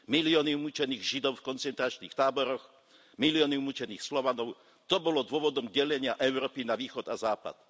Milióny umučených Židov v koncentračných táboroch, milióny umučených Slovanov, to bolo dôvodom delenia Európy na Východ a Západ.